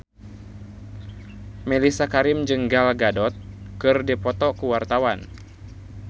Mellisa Karim jeung Gal Gadot keur dipoto ku wartawan